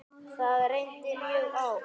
Það reyndi mjög á.